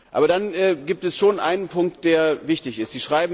Aber dann gibt es schon einen Punkt, der wichtig ist.